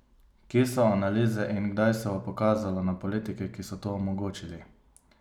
Kje so analize in kdaj se bo pokazalo na politike, ki so to omogočili?